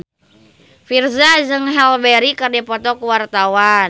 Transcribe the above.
Virzha jeung Halle Berry keur dipoto ku wartawan